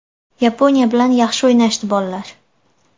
Yaponiya bilan yaxshi o‘ynashdi bollar.